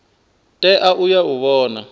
tea u ya u vhona